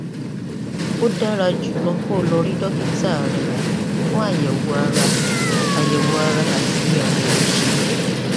ó dára jùlọ kó o lọ rí dókítà rẹ fún àyẹwò ara àyẹwò ara àti àyẹwò ìṣègùn